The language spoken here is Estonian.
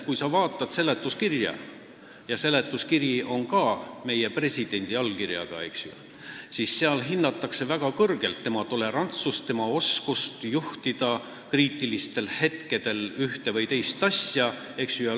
Kui sa vaatad seletuskirja, mis on ka meie presidendi allkirjaga, siis seal hinnatakse väga kõrgelt tema tolerantsust ja oskust kriitilistel hetkedel ühte või teist asja juhtida.